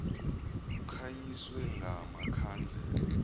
kukhanyiswe nga makhandlela